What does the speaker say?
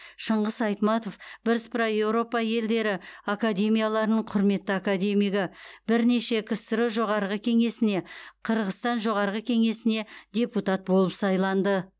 шыңғыс айтматов бірсыпыра еуропа елдері академияларының құрметті академигі бірнеше ксро жоғарғы кеңесіне қырғызстан жоғарғы кеңесіне депутат болып сайланды